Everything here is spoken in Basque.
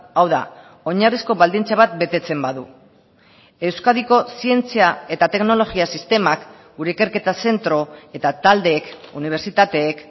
hau da oinarrizko baldintza bat betetzen badu euskadiko zientzia eta teknologia sistemak gure ikerketa zentro eta taldeek unibertsitateek